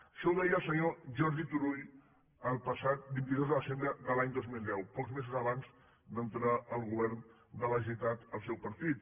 això ho deia el senyor jordi turull el passat vint dos de setembre de l’any dos mil deu pocs mesos abans d’entrar al govern de la generalitat el seu partit